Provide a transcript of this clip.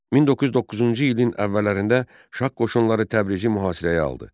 1909-cu ilin əvvəllərində Şah qoşunları Təbrizi mühasirəyə aldı.